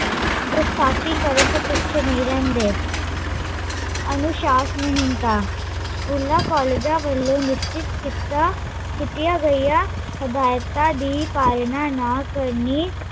ਗੁਸਥਾਕੀ ਕਰਨ ਤੋਂ ਪਿੱਛੇ ਨਹੀਂ ਰਹਿੰਦੇ ਅਨੁਸ਼ਾਸਨਹੀਂਣਤਾ ਸਕੂਲ ਕੋਲਜਾ ਵੱਲੋਂ ਨਿਸਚਿਤ ਕੀਤਾ ਕੀਤੀਆਂ ਗਈਆ, ਹਿਦਾਇਤਾਂ ਦੀ ਪਾਲਣਾ ਨਾ ਕਰਨੀ